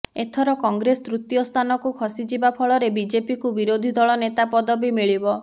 ଏଥର କଂଗ୍ରେସ ତୃତୀୟ ସ୍ଥାନକୁ ଖସିଯିବା ଫଳରେ ବିଜେପିକୁ ବିରୋଧିଦଳ ନେତା ପଦବୀ ମିଳିବ